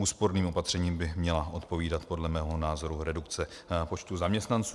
Úsporným opatřením by měla odpovídat podle mého názoru redukce počtu zaměstnanců.